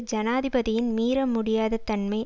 ஜனாதிபதியின் மீற முடியாத தன்மை